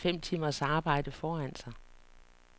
De har næsten fem timers arbejde foran sig.